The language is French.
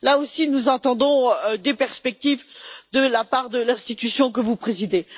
Là aussi, nous attendons des perspectives de la part de l'institution que vous présidez.